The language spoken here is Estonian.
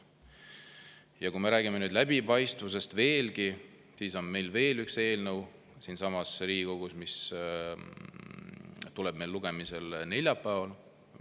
Ja kui me räägime veel läbipaistvusest, siis on meil veel üks eelnõu siinsamas Riigikogus, mis tuleb lugemisele neljapäeval.